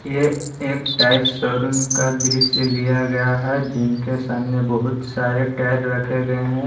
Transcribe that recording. यह एक tyre showroom का दृश्य लिया गया है जिनके सामने बहुत सारे टायर रखे गए हैं।